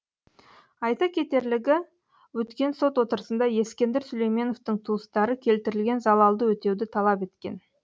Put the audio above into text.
айта кетерлігі өткен сот отырысында ескендір сүлейменовтің туыстары келтірілген залалды өтеуді талап еткен